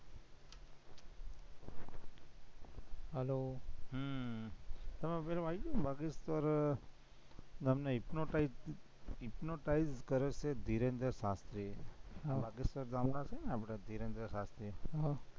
hello તમે પેલું વાંચું, hypnotise, hypnotize કરે છે, ઘીરંધર શાસ્ત્રીએ છે ને આપણા ઘીરંધર શાસ્ત્રીએ